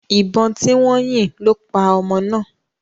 Ìbọn tí wọ́n yìn lo paa ọmọ náà.